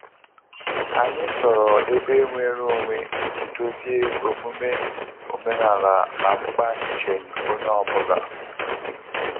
Anyị chọrọ ebe nwere onwe iji dozie omume omenala na mkpa nnjem onye ọ bụla